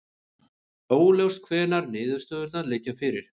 Óljóst hvenær niðurstöðurnar liggja fyrir